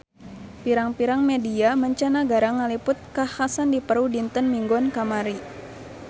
Pirang-pirang media mancanagara ngaliput kakhasan di Peru dinten Minggon kamari